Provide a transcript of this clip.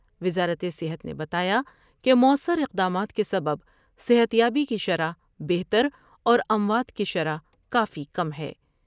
وزارت صحت نے بتایا کہ موثر اقدامات کے سبب صحت یابی کی شرح بہتر اور اموات کی شرح کافی کم ہے ۔